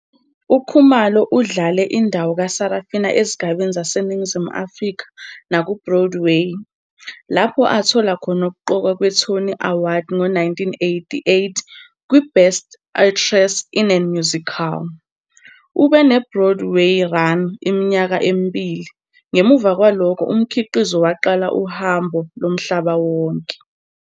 UKhumalo udlale indawo kaSarafina ezigabeni zaseNingizimu Afrika nakuBroadway, lapho athola khona ukuqokwa kweTony Award ngo-1988 kwiBest Actress in a Musical. ube ne-Broadway run iminyaka emibili, ngemuva kwalokho umkhiqizo waqala uhambo lomhlaba wonke.